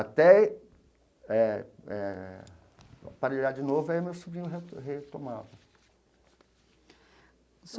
Até... É... É... Aparelhar de novo, aí o meu sobrinho reto retomava.